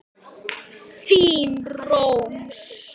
Þín Rós.